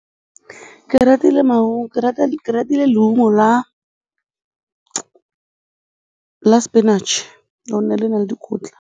Ke ratile leungo la spinach, lone le na le dikotla.